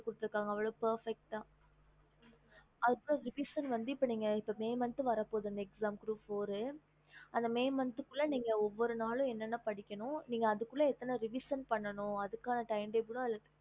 அதுல வந்து அவ்ளோ perfect okay okey mam revision வந்து may month வர பொது revision வந்துஅந்த குள்ள ஒவ்வொரு நாளும் நீக்க வந்து என்ன பிடிக்கணும்அது குள்ள நீக்க revision பண்ணும்